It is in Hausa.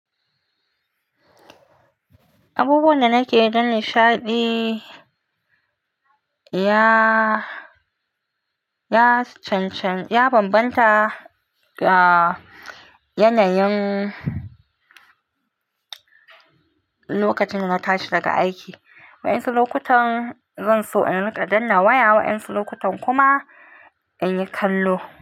Abubuwan da nake yi don nishaɗi ya bambanta da yanayin lokacin da na tashi daga aiki. Wa'insu lokutan zan so in riƙa danna waya, wa'insu lokutan kuma in yi kallo.